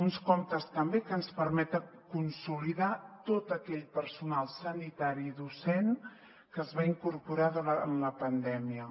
uns comptes també que ens permeten consolidar tot aquell personal sanitari i docent que es va incorporar durant la pandèmia